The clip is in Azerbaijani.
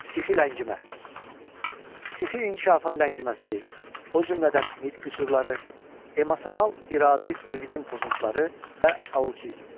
Psixi ləngimə: Psixi inkişafın ləngiməsi, o cümlədən nitq qüsurları, emosional-iradi mühitin pozuntuları və autizm.